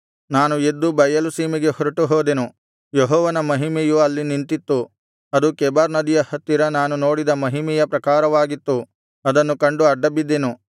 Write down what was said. ನಾನು ಎದ್ದು ಬಯಲು ಸೀಮೆಗೆ ಹೊರಟುಹೋದೆನು ಯೆಹೋವನ ಮಹಿಮೆಯು ಅಲ್ಲಿ ನಿಂತಿತ್ತು ಅದು ಕೆಬಾರ್ ನದಿಯ ಹತ್ತಿರ ನಾನು ನೋಡಿದ ಮಹಿಮೆಯ ಪ್ರಕಾರವಾಗಿತ್ತು ಅದನ್ನು ಕಂಡು ಅಡ್ಡಬಿದ್ದೆನು